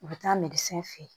U bɛ taa fɛ yen